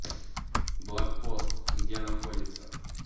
блокпост где находится